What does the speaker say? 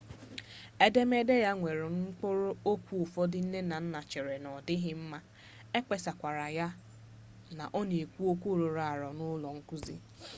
edemede ya nwere mkpụrụ okwu ụfọdụ nne na nna cheere na odịghị mma ekpesakwara na ọ na-ekwu okwu rụrụ arụ n'ụlọ nkụzi